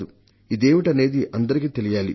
ఇదేమిటనేది అందరికీ తెలియాలి